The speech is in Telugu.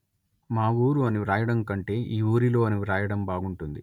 మా ఊరు అని వ్రాయడం కంటే ఈ ఊరిలో అని వ్రాయడం బాగుంటుంది